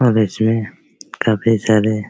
और इसमे काफी सारे --